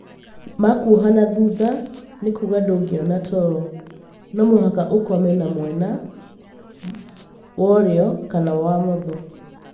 Makwoha na thutha nĩkuga ndũngĩona toro, nomũhaka ũkome na mwena worĩo kana womotho